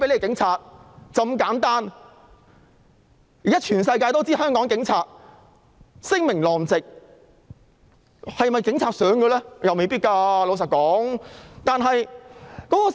現在全世界也知道香港警察聲名狼藉，但警察是否也想如此？